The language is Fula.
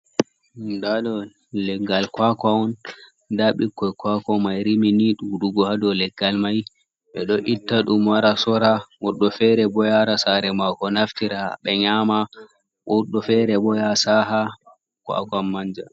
Da ɗo leggal kwakan on da bikkoi kwakwa mai rimi ni ɗuɗugo ha dou leggal mai, ɓe ɗo itta dum wara, sora woɓɓe fere bo yaara saare mako naftira ɓe nyama woɓɓe fere bo ya saha kwakawn manja.